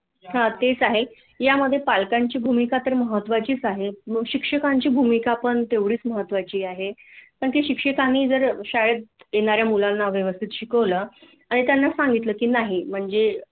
हा तेच आहे यामधे पालकांची भूमिका तर महत्त्वाचीच आहे मग शिक्षकांची भूमिका पण तेवढीच महत्त्वाची आहे पण ते शिक्षकांनी जर शाळेत येणा-या मुलांना व्यवस्थित शिकवल आणि त्यांना सांगितल की नाही म्हणजे